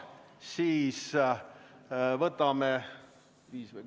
Viis või kümme minutit?